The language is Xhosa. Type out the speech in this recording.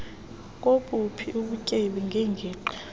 kobuphi ubutyebi neengingqi